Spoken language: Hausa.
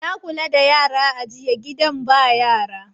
Na kula da yara a yiya gidanbyara